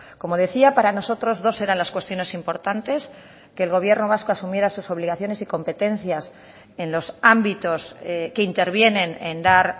como decía para nosotros dos eran las cuestiones importantes que el gobierno vasco asumiera sus obligaciones y competencias en los ámbitos que intervienen en dar